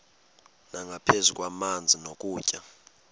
nangaphezu kwamanzi nokutya